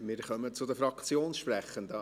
Wir kommen zu den Fraktionssprechenden.